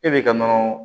E bɛ ka nɔnɔ